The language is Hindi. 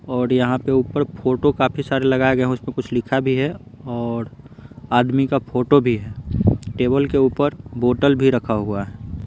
और यहाँ पे ऊपर फोटो काफी सारे लगाए गए हैं उसमें कुछ लिखा भी है और आदमी का फोटो भी है टेबल के ऊपर बोटल भी रखा हुआ है।